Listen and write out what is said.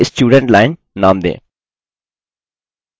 इसे student line नाम दें